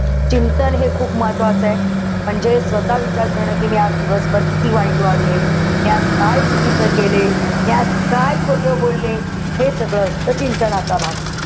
चिंतन हे खूप महत्वाचंय. म्हणजे स्वतः विचार करणार कि मी आज दिवसभर किती वाईट वागले. आज काय चुकीचे केले. मी आज काय खोटं बोलले. हे सगळं असतं चिंतनाचा भाग.